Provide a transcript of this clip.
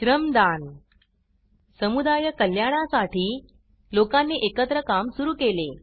श्रमदान समुदाय कल्याणासाठी लोकांनी एकत्र काम सुरु केले